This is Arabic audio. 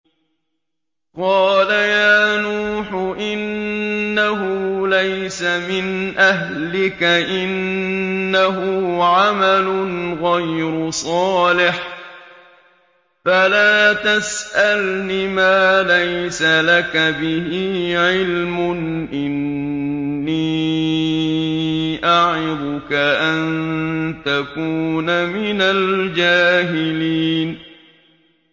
قَالَ يَا نُوحُ إِنَّهُ لَيْسَ مِنْ أَهْلِكَ ۖ إِنَّهُ عَمَلٌ غَيْرُ صَالِحٍ ۖ فَلَا تَسْأَلْنِ مَا لَيْسَ لَكَ بِهِ عِلْمٌ ۖ إِنِّي أَعِظُكَ أَن تَكُونَ مِنَ الْجَاهِلِينَ